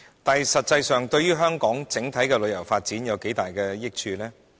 但是，它實際上可對香港整體旅遊發展帶來多大益處？